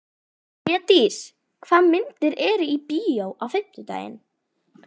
Hlédís, hvaða myndir eru í bíó á fimmtudaginn?